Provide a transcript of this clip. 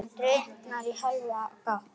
Dyrnar í hálfa gátt.